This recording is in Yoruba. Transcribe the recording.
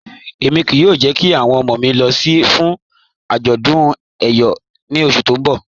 Ẹ̀mi kíí yóò jẹ̀ kí awọn ọmọ mi lọ̀ fún ajọ̀dún Eyọ̀ ní ọṣù tí n bọ̀